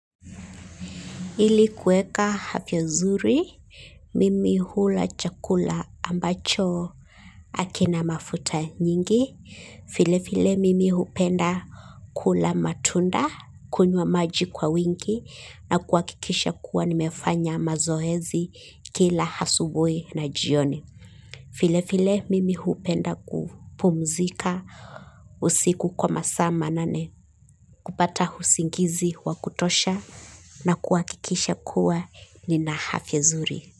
Ili kueka hafya zuri, mimi hula chakula ambacho hakina mafuta mingi file file mimi hupenda kula matunda kunywa miji kwa wingi na kuakikisha kuwa nimefanya mazoezi kila asubuhi na jioni file mimi hupenda kupumzika usiku kwa masaa manane kupata usingizi wa kutosha na kuwakikisha kuwa nina afya nzuri.